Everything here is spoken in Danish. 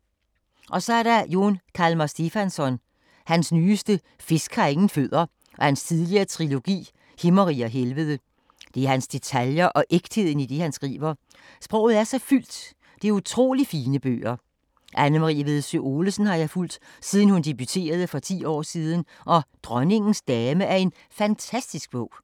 Så er der Jón Kalman Stefánsson. Hans nyeste, Fisk har ingen fødder, og hans tidligere trilogi Himmerige og helvede. Det er hans detaljer og ægtheden i det han skriver. Sproget er så fyldt - det er utroligt fine bøger. Anne-Marie Vedsø Olesen har jeg fulgt, siden hun debuterede for ti år siden og Dronningens dame er en fantastisk bog.